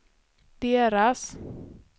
deras